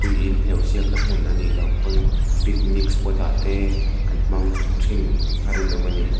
hi hleuh siakna hmun a nilo pawn picnic spot a te an hmang thin a rinawm a ni.